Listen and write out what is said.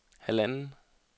halvanden